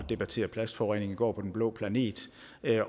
debattere plastforurening i går på den blå planet